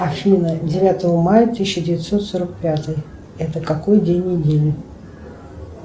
афина девятого мая тысяча девятьсот сорок пятый это какой день недели